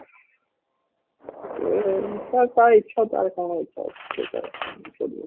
ସେ ଇଚ୍ଛା ତା ଇଚ୍ଛା ଅଛି ସେ ତାର କଣ କିଛି କରିବ